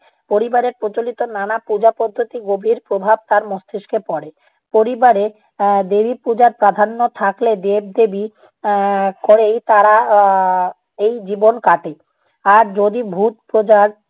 পরিবারের প্রচলিত নানা পূজা পদ্ধতির গভীর প্রভাব তার মস্তিষ্কে পড়ে। পরিবারে এর দেবী পূজার প্রাধান্য থাকলে দেব দেবী এ্যা কোরেই তারা এর এই জীবন কাটে। আর যদি ভূত পূজার